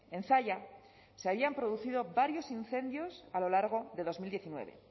en zalla se habían producido varios incendios a lo largo de dos mil diecinueve